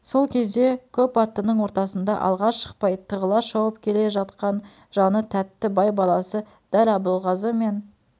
сол кезде көп аттының ортасында алға шықпай тығыла шауып келе жаіқан жаны тәтті бай баласы дәл абылғазы мен